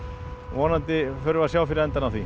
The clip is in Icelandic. vonandi förum við sjá fyrir endann á því